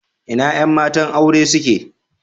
Ina yan matan aure suke?